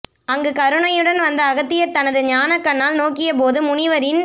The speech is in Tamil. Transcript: அங்கு கருணையுடன் வந்த அகத்தியர் தனது ஞானக் கண்ணால் நோக்கியபோது முனிவரின்